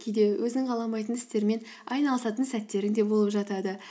кейде өзің қаламайтын істермен айналысатын сәттерің де болып жатады